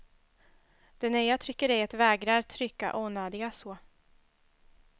Det nya tryckeriet vägrar trycka onödiga så.